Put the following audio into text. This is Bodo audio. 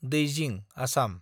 दैजिं (आसाम)